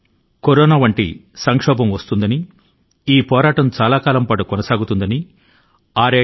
కేవలం 67 నెలల క్రితం కరోనా అనే విపత్తు ను గురించి మనకు అసలు తెలియదు లేదా పోరాటం ఇంత సుదీర్ఘ కాలం సాగుతుందని ఊహించలేదు